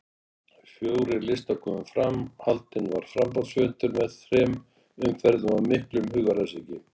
Fjórir listar komu fram, haldinn var framboðsfundur með þrem umferðum og miklum hugaræsingi.